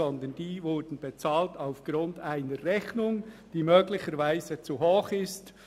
Vielmehr wurden diese aufgrund einer Rechnung bezahlt, die möglicherweise zu hoch ist.